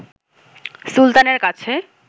সুলতানের কাছে